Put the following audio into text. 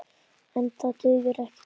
En það dugir ekki til.